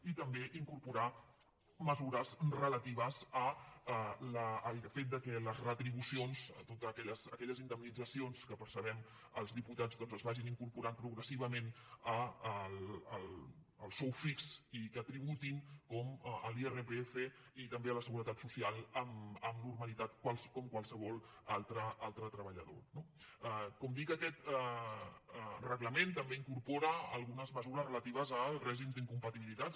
i també incorporar mesures relatives al fet que les retribucions totes aquelles indemnitzacions que percebem els diputats doncs es vagin incorporant progressivament al sou fix i que tributin com l’irpf i també a la seguretat social amb normalitat com qualsevol altre treballador no com dic aquest reglament també incorpora algunes mesures relatives al règim d’incompatibilitats